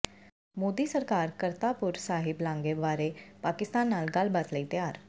ਮੋਦੀ ਸਰਕਾਰ ਕਰਤਾਪੁਰ ਸਾਹਿਬ ਲਾਂਘੇ ਬਾਰੇ ਪਾਕਿਸਤਾਨ ਨਾਲ ਗੱਲਬਾਤ ਲਈ ਤਿਆਰ